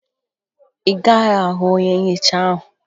Ị gaghị ahụ onye nhicha ahụ